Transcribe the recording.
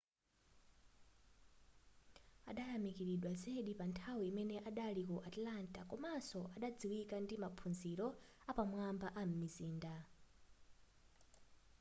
adayamikiridwa zedi panthawi imene adali ku atlanta komanso adadziwika ndi maphunziro apamwamba am'mizinda